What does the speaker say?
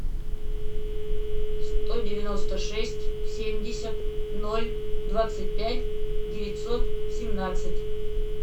сто девяносто шесть семьдесят ноль двадцать пять девятьсот семнадцать